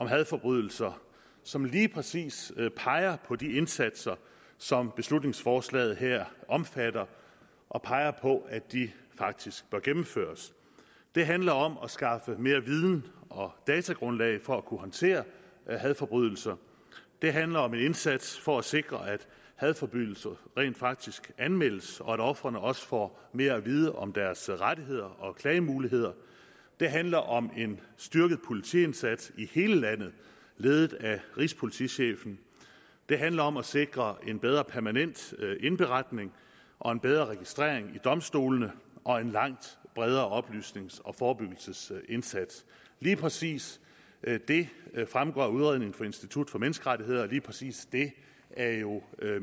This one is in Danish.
hadforbrydelser som lige præcis peger på de indsatser som beslutningsforslaget her omfatter og peger på at de faktisk bør gennemføres det handler om at skaffe mere viden og datagrundlag for at kunne håndtere hadforbrydelser det handler om en indsats for at sikre at hadforbrydelser rent faktisk anmeldes og at ofrene også får mere at vide om deres rettigheder og klagemuligheder det handler om en styrket politiindsats i hele landet ledet af rigspolitichefen det handler om at sikre en bedre permanent indberetning og en bedre registrering ved domstolene og en langt bredere oplysnings og forebyggelsesindsats lige præcis det fremgår af udredningen fra institut for menneskerettigheder og lige præcis det er jo